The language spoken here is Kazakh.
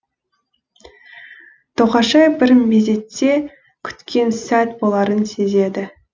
тоқашай бір мезетте күткен сәт боларын сезеді